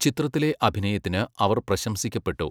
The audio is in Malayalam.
ചിത്രത്തിലെ അഭിനയത്തിന് അവർ പ്രശംസിക്കപ്പെട്ടു.